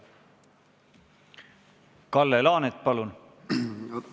Kalle Laanet, palun!